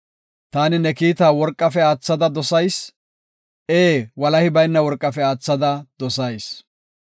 Taani ne kiita worqafe aathada dosay; ee, walahi bayna worqafe aathada dosayis.